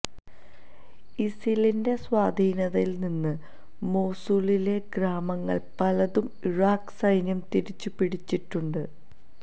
ഇസിലിന്റെ സ്വാധീനത്തില് നിന്ന് മൊസൂളിലെ ഗ്രാമങ്ങള് പലതും ഇറാഖ് സൈന്യം തിരിച്ചുപിടിച്ചിട്ടുണ്ട്